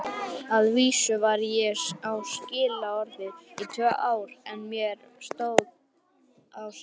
Að vísu var ég á skilorði í tvö ár en mér stóð á sama.